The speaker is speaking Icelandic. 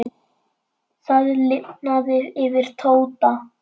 Það lifnaði yfir Tóta.